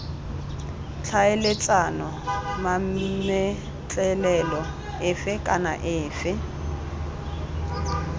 tlhaeletsana mametlelelo efe kana efe